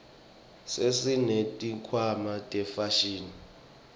sesineti khwama tefashini